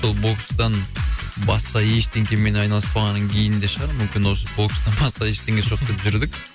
сол бокстан басқа ештеңкемен айналыспағаннан кейін де шығар мумкін осы бокстан басқа ештеңесі жоқ деп жүрдік